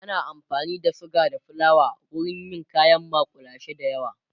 ana amfani da suga da flawa wurin yin kayan makullashe da yawa